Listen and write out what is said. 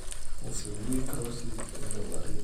Esuju Krosi e Bellerin.